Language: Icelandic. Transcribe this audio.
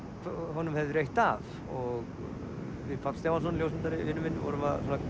honum hefði reitt af og við Páll Stefánsson ljósmyndari vinur minn vorum að